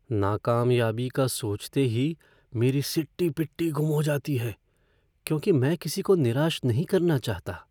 नाकामयाबी का सोचते ही मेरी सिट्टी पिट्टी गुम हो जाती है क्योंकि मैं किसी को निराश नहीं करना चाहता।